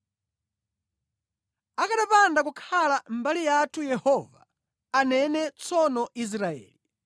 Akanapanda kukhala mbali yathu Yehova, anene tsono Israeli,